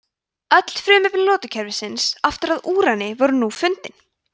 öll frumefni lotukerfisins aftur að úrani voru nú fundin